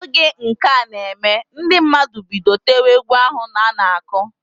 Oge nka na eme, ndi mmadụ bido tewe egwu ahu ana-akụ.